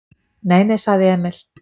"""Nei, nei, sagði Emil."""